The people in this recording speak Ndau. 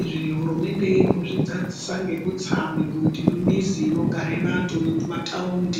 Izvi hurumende irikuzvidzadzisa nekutsa migodhi mumizi inogare vantu, nemumataundi.